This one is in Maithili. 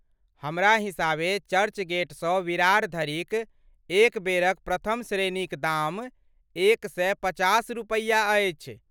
हमरा हिसाबे चर्चगेटसँ विरार धरिक एक बेरक प्रथम श्रेणीक दाम एक सए पचास रुपैया अछि ।